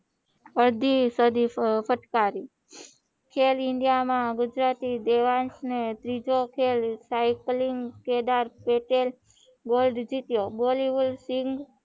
અડધી સદી ફટકારી સેલ ઇન્ડિયા માં ગુજરાતી દેવાંસ ને ત્રીજો ખેલ સાયકલીંગ કેદાર પટેલ ગોલ્ડ જીત્યો બોલીવુડ સીન